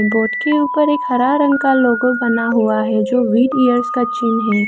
Board के ऊपर एक हरा रंग का लोगो बना हुआ है जो व्हीट ईयर का चिन्ह है।